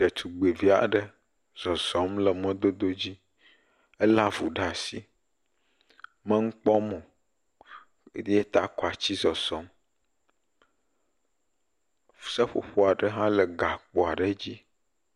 Detugbivi aɖe zɔzɔm le mɔdododzi. Elé avu ɖa asi. Me nu kpɔm o. Ɖe ta kɔ atsi zɔzɔm. seƒoƒo aɖe hã le gakpo aɖe dzi.